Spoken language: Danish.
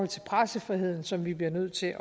til pressefriheden som vi bliver nødt til